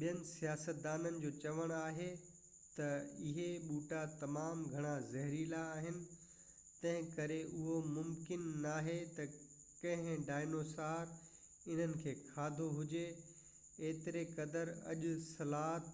ٻين سائنسدانن جو چوڻ آهي تہ اهي ٻوٽا تمام گهڻا زهريلا آهن تنهنڪري اهو ممڪن ناهي تہ ڪنهن ڊائنوسر انهن کي کاڌو هجي، ايتري قدر اڄ سلاٿ